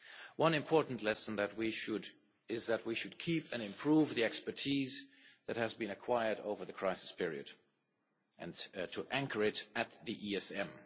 One important lesson is that we should keep and improve on the expertise that has been acquired over the crisis period, and to anchor it at the ESM.